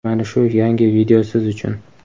mana shu yangi video siz uchun!.